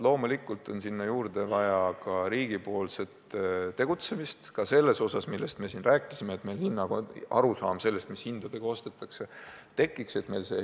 Loomulikult on sinna juurde vaja ka riigipoolset tegutsemist, ka selles osas, millest me siin rääkisime, et meil peab tekkima arusaam sellest, mis hindadega ostetakse.